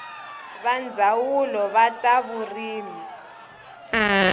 va ndzawulo wa ta vurimi